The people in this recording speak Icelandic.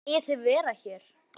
Megið þið vera hér?